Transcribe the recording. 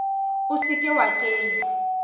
o se ke wa kenya